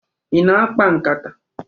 Ị na-akpa nkata?